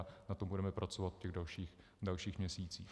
A na tom budeme pracovat v těch dalších měsících.